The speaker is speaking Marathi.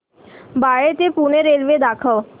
बाळे ते पुणे रेल्वे दाखव